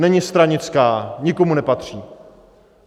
Není stranická, nikomu nepatří.